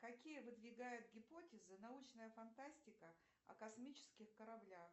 какие выдвигает гипотезы научная фантастика о космических кораблях